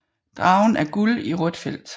Dragen er Guld i rødt Feldt